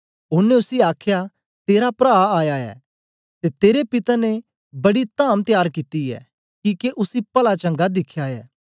ओनें उसी आखया तेरा प्रा आया ऐ ते तेरे पिता ने बड़ी धाम त्यार कित्ती ऐ किके उसी पला चंगा दिखया ऐ